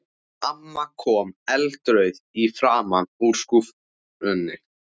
Amma kom eldrauð í framan upp úr skúffunni.